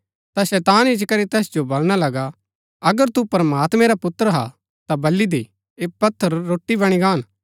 ता शैतान इच्ची करी तैस जो बलणा लगा अगर तू प्रमात्मैं रा पुत्र हा ता बल्ली दे ऐह पत्थर रोटी बणी गान